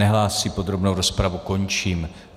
Nehlásí, podrobnou rozpravu končím.